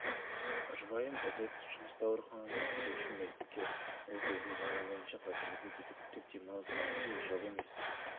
жұбайым ізет жұмыста ауруханада кезекші медбике ол кездің заңы бойынша қазіргідей декреттік демалыс немесе жыл емес